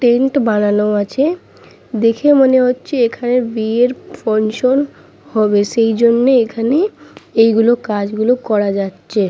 Tent বানানো আছে দেখে মনে হচ্ছে এখানে বিয়ের ফুনসন হবে সেই জন্য এখানে এইগুলো কাজগুলো করা যাচ্ছে ।